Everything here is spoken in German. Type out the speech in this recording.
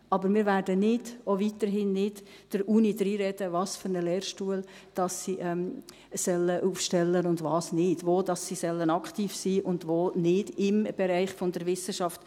Aber wir werden nicht – auch weiterhin nicht – der Uni reinreden, welchen Lehrstuhl sie einrichten soll und welchen nicht, wo sie im Bereich der Wissenschaft aktiv sein soll und wo nicht.